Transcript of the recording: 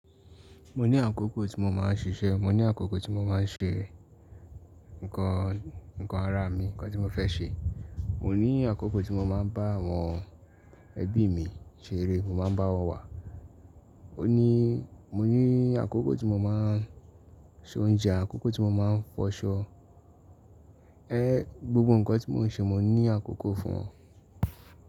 Mo ní àkókò tí mo máa ń ṣiṣẹ́, mo ní àkókò tí mo máa ń ṣe ńkan, ńkan ara mi, ńkan tí mo fẹ́ ṣe. Mo ní àkókò tí mo máa ń bá àwọn ẹbí mi ṣeré, mo máa ń bá wọn wà. O ní, mo ní àkókò tí mo máa ń se oúnjẹ, àkókò tí mo máa ń fọṣọ. Ẹ, gbogbo ńkan tí mò ń ṣe, mo ní àkókò fún wọn.